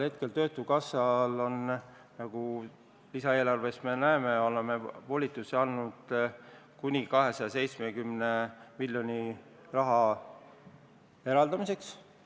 Tänasel hetkel, nagu me lisaeelarves näeme, oleme töötukassa puhul volitusi andnud kuni 270 miljoni euro eraldamiseks.